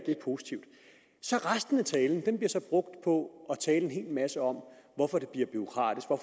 positivt resten af talen bliver så brugt på at tale en hel masse om hvorfor det bliver bureaukratisk og